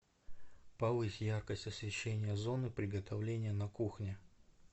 повысь яркость освещения зоны приготовления на кухне